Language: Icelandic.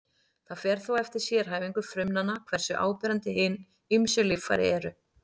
Það fer þó eftir sérhæfingu frumnanna hversu áberandi hin ýmsu líffæri eru.